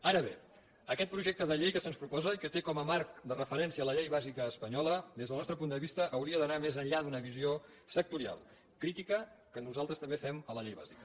ara bé aquest projecte de llei que se’ns proposa i que té com a marc de referència la llei bàsica espanyola des del nostre punt de vista hauria d’anar més enllà d’una visió sectorial crítica que nosaltres també fem a la llei bàsica